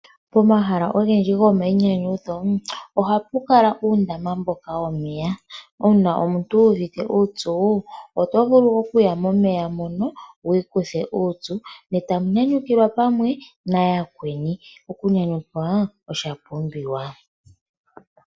Pomahala ogendji gomayinyanyudho ohapu kala uundama mboka womeya. Uuna omuntu wuuvite uupyu oto vulu okuya momeya mono wiikuthe uupyu etamu nyanyukilwa pamwe nayakweni. Okunyanyukwa osha pumbiwa.